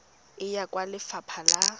e ya kwa lefapha la